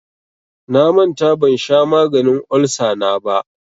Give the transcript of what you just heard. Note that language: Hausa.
Na manta ban sha maganin olsa na ba.